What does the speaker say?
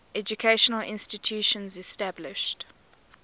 educational institutions established